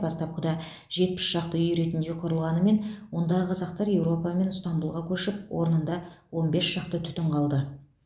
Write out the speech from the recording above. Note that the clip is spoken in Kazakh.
бастапқыда жетпіс шақты үй ретінде құрылғанымен ондағы қазақтар еуропа мен ыстанбұлға көшіп орнында он бес шақты түтін қалды